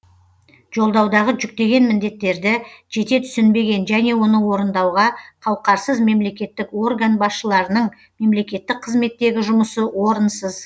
жолдаудағы жүктеген міндеттерді жете түсінбеген және оны орындауға қауқарсыз мемлекеттік орган басшыларының мемлекеттік қызметтегі жұмысы орынсыз